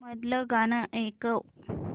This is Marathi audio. मधलं गाणं ऐकव